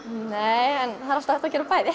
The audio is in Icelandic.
það er alltaf hægt að gera bæði